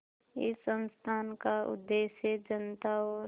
इस संस्थान का उद्देश्य जनता और